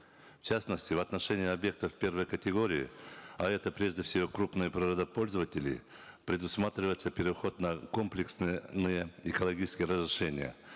в частности в отношении объектов первой категории а это прежде всего крупные природопользователи предусматривается переход на комплексные экологические разрешения